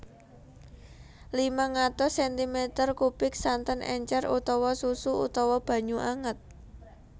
limang atus sentimeter kubik santen encer utawa susu utawa banyu anget